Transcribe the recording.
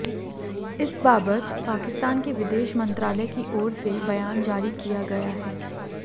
इस बाबत पाकिस्तान के विदेश मंत्रालय की ओर से बयान जारी किया गया है